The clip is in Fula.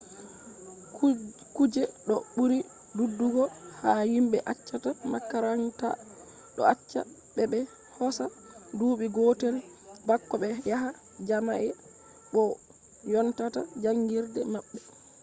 kuje do buri dudugo ha himbe accata makaranta do acca be be hosa duubi gotel bako be yaha jami’a bo vonnata jangirde mabbe